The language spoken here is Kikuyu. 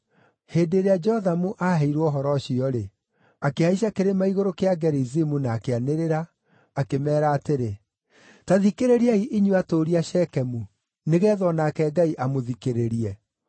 Hĩndĩ ĩrĩa Jothamu aaheirwo ũhoro ũcio-rĩ, akĩhaica Kĩrĩma-igũrũ kĩa Gerizimu na akĩanĩrĩra, akĩmeera atĩrĩ, “Ta thikĩrĩriai inyuĩ atũũri a Shekemu, nĩgeetha o nake Ngai amũthikĩrĩrie.